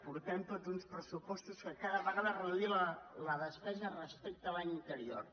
portem tots uns pressupostos en què cada vegada es reduïa la despesa respecte a l’any anterior